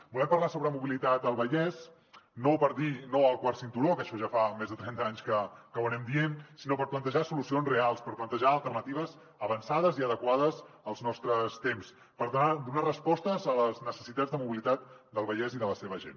volem parlar sobre mobilitat al vallès no per dir no al quart cinturó que això ja fa més de trenta anys que ho diem sinó per plantejar solucions reals per plantejar alternatives avançades i adequades als nostres temps per tal de donar respostes a les necessitats de mobilitat del vallès i de la seva gent